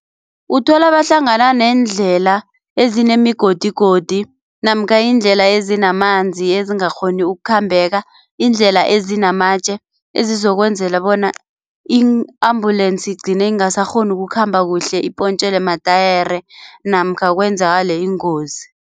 Uthola bahlangana neendlela ezinemigodigodi namkha iindlela ezinamanzi ezingakghoni ukukhambeka, iindlela ezinamatje ezizokwenzela bona ii-ambulensi igcine ingasakghoni ukukhamba kuhle ipontjelwe matayere namkha kwenzakale ingozi.